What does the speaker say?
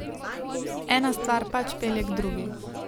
Ena stvar pač pelje k drugi.